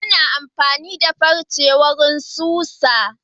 Ana amfani da farce wurin susa.